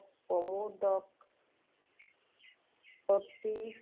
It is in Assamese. সমূদক শক্তি